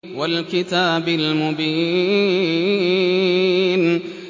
وَالْكِتَابِ الْمُبِينِ